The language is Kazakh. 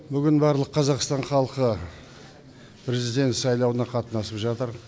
бүгін барлық қазақстан халқы президент сайлауына қатынасып жатыр